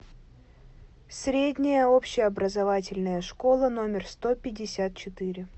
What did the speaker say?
средняя общеобразовательная школа номер сто пятьдесят четыре